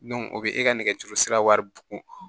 o bɛ e ka nɛgɛjuru sira wari bon